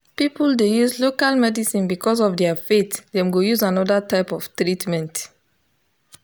people dey use local medicine because of their faith dem go use another type of treatment.